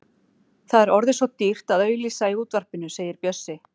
Það er orðið svo dýrt að auglýsa í útvarpinu, segir Bjössi.